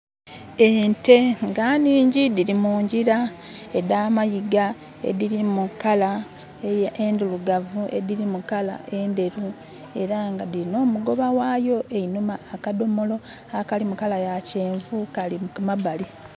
Ente nga nhingi dhiri mu ngira edh'amayiga edhiri mu kala endirugavu, edhiri mu kala endheru era nga dirinha omugoba ghayo einhuma. Akadhomolo akali mu kala ya kyenvu kali ku mabali.